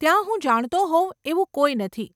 ત્યાં હું જાણતો હોઉં એવું કોઈ નથી.